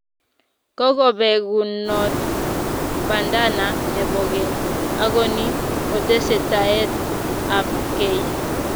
Kokobekunot bananda nepo keny ako ni kotesetaet ab kei